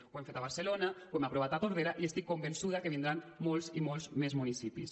ho hem fet a barcelona ho hem aprovat a tordera i estic convençuda que vindran molts i molts més municipis